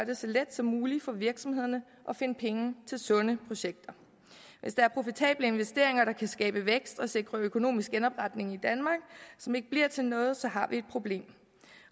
det så let som muligt for virksomhederne at finde penge til sunde projekter hvis der er profitable investeringer der kan skabe vækst og sikre økonomisk genopretning i danmark som ikke bliver til noget så har vi et problem